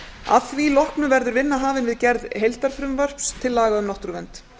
að því loknu verður vinna hafin við gerð heildarfrumvarps til laga um náttúruvernd